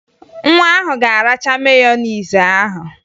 Nwa ahụ ga-aracha meyonezi ahụ